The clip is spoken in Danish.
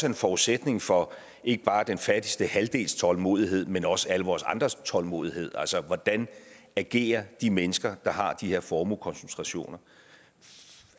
en forudsætning for ikke bare den fattigste halvdels tålmodighed men også for alle vores andres tålmodighed altså hvordan agerer de mennesker der har de her formuekoncentrationer